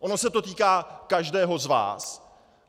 Ono se to týká každého z vás.